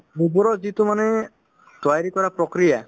সেইবোৰৰ যিটো মানে তৈয়াৰী কৰা প্ৰক্ৰিয়া